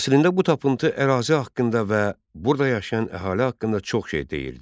Əslində bu tapıntı ərazi haqqında və burada yaşayan əhali haqqında çox şey deyirdi.